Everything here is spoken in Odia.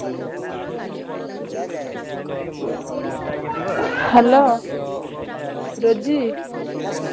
Hello ରୋଜି।